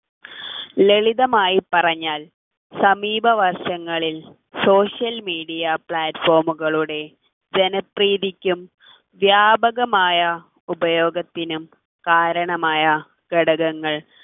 ലളിതമായി പറഞ്ഞാൽ സമീപവർഷങ്ങളിൽ social media platform കളുടെ ജനപ്രീതിക്കും വ്യാപകമായ ഉപയോഗത്തിനും കാരണമായ ഘടകങ്ങൾ